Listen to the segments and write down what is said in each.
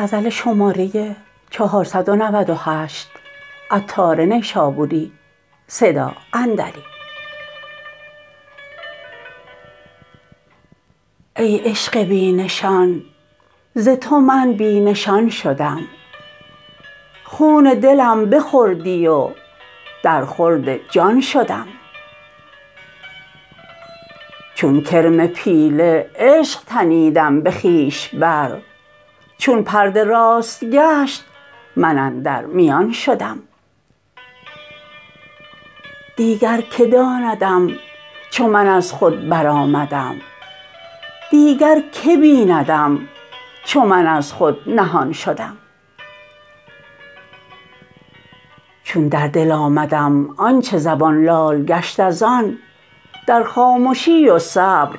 ای عشق بی نشان ز تو من بی نشان شدم خون دلم بخوردی و در خورد جان شدم چون کرم پیله عشق تنیدم به خویش بر چون پرده راست گشت من اندر میان شدم دیگر که داندم چو من از خود برآمدم دیگر که بیندم چو من از خود نهان شدم چون در دل آمدم آنچه زبان لال گشت از آن در خامشی و صبر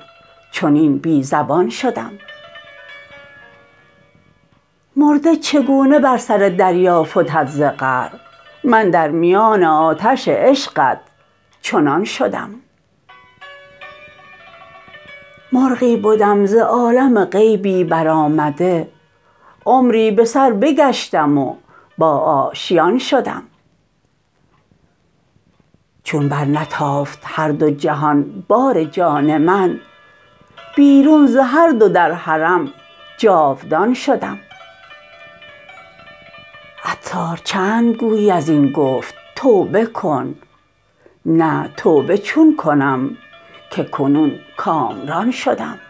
چنین بی زبان شدم مرده چگونه بر سر دریا فتد ز قعر من در میان آتش عشقت چنان شدم مرغی بدم ز عالم غیبی برآمده عمری به سر بگشتم و با آشیان شدم چون بر نتافت هر دو جهان بار جان من بیرون ز هر دو در حرم جاودان شدم عطار چند گویی ازین گفت توبه کن نه توبه چون کنم که کنون کامران شدم